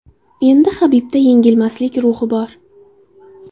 Endi Habibda engilmaslik ruhi bor.